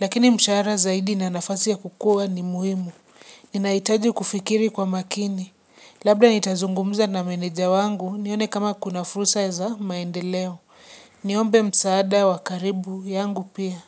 Lakini mshahara zaidi na nafasi ya kukua ni muhimu. Ninahitaji kufikiri kwa makini. Labda nitazungumuza na meneja wangu nione kama kuna furua za maendeleo. Niombe msaada wa karibu yangu pia.